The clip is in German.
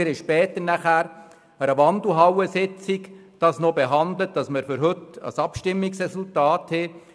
Später wurde der Antrag an einer Wandelhallensitzung verhandelt, damit für die heutige Sitzung ein Abstimmungsresultat vorliegt.